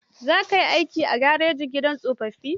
Za kai aikin agaji a gidan tsofaffin?